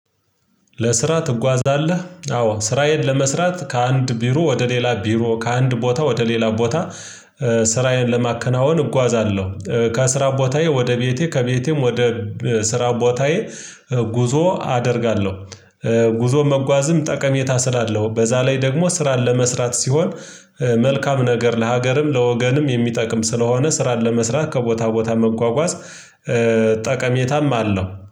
ለስራ ትጓዛለህ አዎ ስራዬን ለመስራት ከአንድ ቢሮ ወደ ሌላ ቢሮ ከአንድ ቦታ ወደ ሌላ ቦታ ስራዬን ለማከናወን እጓዛለሁ። ከስራ ቦታዬ ወደ ቤቴ ከቤቴም ወደ ስራ ቦታዬ ጉዞ አደርጋለሁ። ጉዞን መጓዝም ጠቀሜታ ስላለው በዛ ላይ ደግሞ ስራን ለመስራት ሲሆን መልካም ነገር ለሀገርም ለወገንም የሚጠቅም ስለሆነ ስራን ለመስራት ከቦታ ቦታ መጓጓዝ ጠቀሜታም አለው